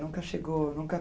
Nunca chegou? Nunca